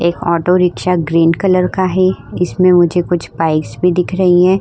एक auto rickshaw green colour का है। इसमें मुझे कुछ बाइक्स भी दिखाई दे रही हैं।